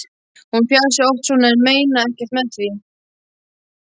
Hún fjasi oft svona en meini ekkert með því.